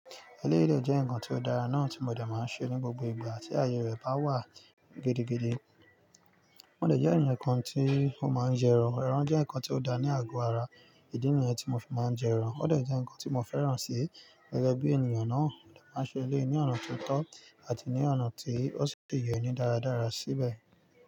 Ẹlẹ́yii dẹ̀ jẹ́ nkan ti ó dára náà ti mo dẹ̀ máa n ṣe ní gbogbo ìgbà tí ayé rẹ bá wà gidigidi. Mo de jẹ ẹ̀yán ǹkan ti o máa ń jẹ ẹran. Ẹran jẹ́ nkan ti ó da ní àgọ ara, ìdí nìyẹn ti mo fi máa ń jẹ ẹran. Ó de jẹ nǹkan ti mo fẹ́ràn si, gẹ́gẹ́ bi ènìyàn náà, máa ṣe eléyìí ní ọ̀nà ti o tó àti ní ọ̀nà tí ó ṣì yẹ ní dáradára síbẹ̀